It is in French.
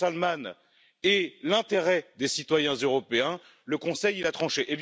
Ben Salman et l'intérêt des citoyens européens, le Conseil a tranché.